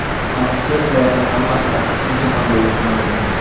Haqiqiy hayotda hammasi aksincha ham bo‘lishi mumkin.